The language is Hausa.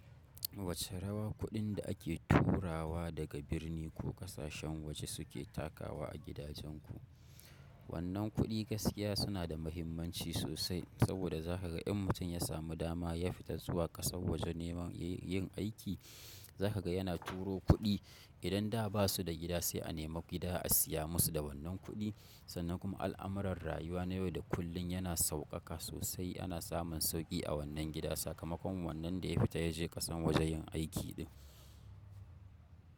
Wace rawa kuɗin da ake turawa daga birni ko ƙasashen waje suke takawa a gidajenku? Wannan kuɗi gaskiya suna da muhimmanci sosai saboda zaka ga in mutum ya samu dama ya fita zuwa ƙasar waje nema yin yin aiki zaka ga yana turo kuɗi idan da basu da gida sai a nema gida a siya musu da wannan ƙudi sannan kuma al'amuran rayuwa na yau da kullum yana sauƙaƙa sosai ana samun sauƙi a wannan gida sakamakon wannan da ya fita ya je ƙasan waje yin aiki ɗin.